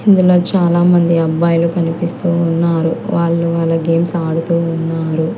ఇందులో చాలామంది అబ్బాయిలు కనిపిస్తూ ఉన్నారు వాళ్ళు వాళ్ళ గేమ్స్ ఆడుతూ ఉన్నారు.